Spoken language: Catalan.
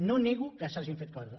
no nego que s’hagin fet coses